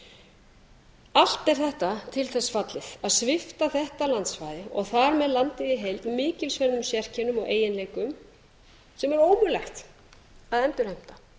miðhálendið allt er þetta til þess fallið að svipta þetta landsvæða og þar með landið í heild mikilsverðum sérkennum og eiginleikum sem er ómögulegt að endurheimta